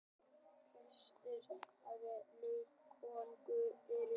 helstu trjátegundir laufskóganna eru eik